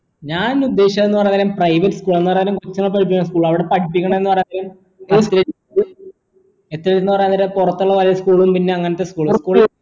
ഞാൻ ഉദ്ദേശിച്ചത് എന്ന് പറഞ്ഞ കാര്യം private school എന്ന് പറഞ്ഞ school അവിടെ പഠിപ്പിക്കണത് പറഞ്ഞ പറയുന്നേ അവരെ പുറത്തുള്ള പല school കൾ പിന്നെ അങ്ങനത്തെ